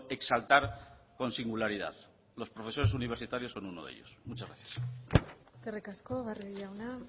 exaltar con singularidad los profesores universitarios son uno de ellos muchas gracias eskerrik asko barrio jauna